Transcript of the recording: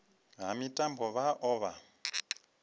ha mitambo vha o vha